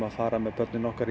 fara með börnin okkar